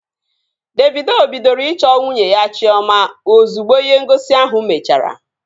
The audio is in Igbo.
Davido bidoro ịchọ nwunye ya Chiọma ozugbo ihe ngosi ahụ mechara